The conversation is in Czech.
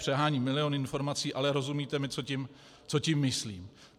Přeháním, milion informací, ale rozumíte mi, co tím myslím.